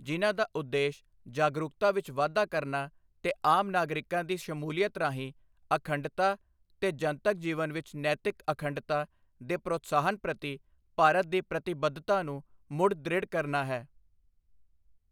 ਜਿਨ੍ਹਾਂ ਦਾ ਉਦੇਸ਼ ਜਾਗਰੂਕਤਾ ਵਿੱਚ ਵਾਧਾ ਕਰਨਾ ਤੇ ਆਮ ਨਾਗਰਿਕਾਂ ਦੀ ਸ਼ਮੂਲੀਅਤ ਰਾਹੀਂ ਅਖੰਡਤਾ ਤੇ ਜਨਤਕ ਜੀਵਨ ਵਿੱਚ ਨੈਤਿਕ ਅਖੰਡਤਾ ਦੇ ਪ੍ਰੋਤਸਾਹਨ ਪ੍ਰਤੀ ਭਾਰਤ ਦੀ ਪ੍ਰਤੀਬੱਧਤਾ ਨੂੰ ਮੁੜ ਦ੍ਰਿੜ੍ਹ ਕਰਨਾ ਹੈ।